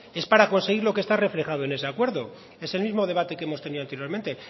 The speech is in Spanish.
es para conseguir lo que está reflejado en ese acuerdo es el mismo debate que hemos tenido anteriormente